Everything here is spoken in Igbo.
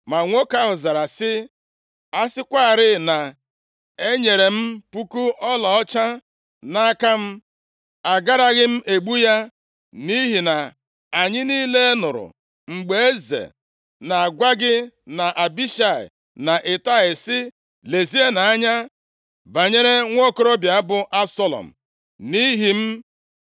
Ma nwoke ahụ zara sị, “A sịkwarị na e nyere m puku ọlaọcha nʼaka m a, agaraghị m egbu ya. Nʼihi na anyị niile nụrụ mgbe eze na-agwa gị na Abishai na Itai sị, ‘Lezienụ anya banyere nwokorobịa bụ Absalọm, nʼihi m.’